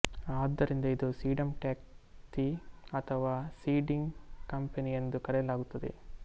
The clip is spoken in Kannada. ಆದ್ದರಿಂದ ಇದು ಸೀಡಂಟ್ವ್ಯಕ್ತಿ ಅಥವಾ ಸೀಡಿಂಗ್ ಕಂಪನಿ ಎಂದು ಕರೆಯಲಾಗುತ್ತದೆ